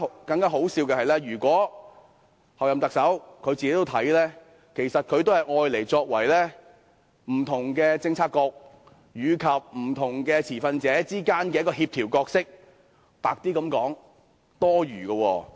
更可笑的是，候任行政長官自己亦只將中策組視為在不同政策局及不同持份者之間的協調者；說得白一點，是多餘的。